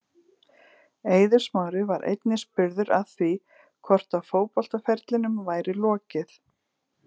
Eiður Smári var einnig spurður að því hvort að fótboltaferlinum væri lokið.